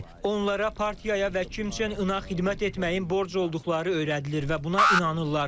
Onlara partiyaya və Kim Çen Inaq xidmət etməyin borc olduqları öyrədilir və buna inanırlar.